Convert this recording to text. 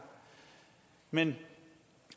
men